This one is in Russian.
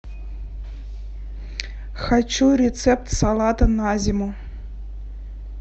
хочу рецепт салата на зиму